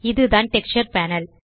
இதுதான் texture panel